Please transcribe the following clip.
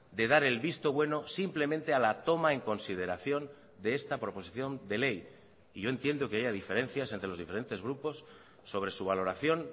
de dar el visto bueno simplemente a la toma en consideración de esta proposición de ley y yo entiendo que haya diferencias entre los diferentes grupos sobre su valoración